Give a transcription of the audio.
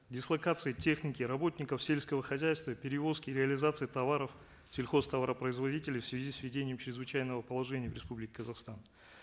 дислокации техники работников сельского хозяйства перевозки и реализации товаров сельхозтоваропроизодителей в связи с введением чрезвычайного положения в республике казахстан